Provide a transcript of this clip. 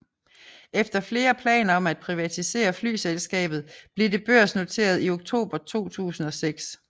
Efter flere planer om at privatisere flyselskabet blev det børsnoteret i oktober 2006